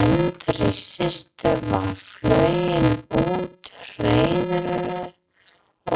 Eldri systir var flogin úr hreiðrinu